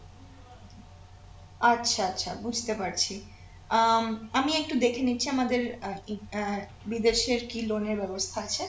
আচ্ছা আচ্ছা বুঝতে পারছি আহ আমি একটু দেখে নিচ্ছি আমাদের আহ কি আহ বিদেশের কি loan এর বেবস্থা আছে